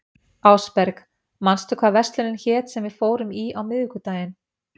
Ásberg, manstu hvað verslunin hét sem við fórum í á miðvikudaginn?